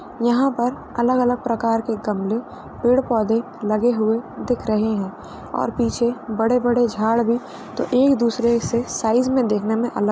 यहाँ पर अलग - अलग प्रकार के गमले पेड़ पौधे लगे हुए दिख रहे हैं और पीछे बड़े - बड़े झाड़ भी तो एक दूसरे से साईज़ में देखने में अलग --